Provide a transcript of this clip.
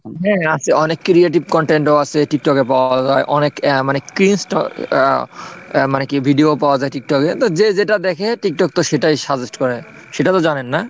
হ্যাঁ আছে অনেক creative content ও আছে tiktok এ পাওয়া যায়, অনেক মানে cleansed আহ মানে কি video পাওয়া যায় tiktok এ তো যে যেটা দেখে tiktok তো সেটাই suggest করে, সেটা তো জানেন না?